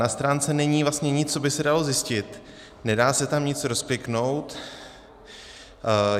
Na stránce není vlastně nic, co by se dalo zjistit, nedá se tam nic rozkliknout.